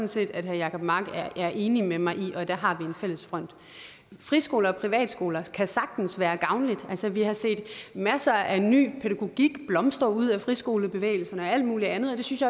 set at herre jacob mark er enig med mig i og der har vi en fælles front friskoler og privatskoler kan sagtens være gavnlige altså vi har set masser af ny pædagogik blomstre ud af friskolebevægelsen og alt muligt andet og det synes